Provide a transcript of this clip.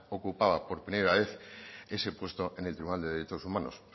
ocupaba por primera vez ese puesto en el tribunal de derechos humanos se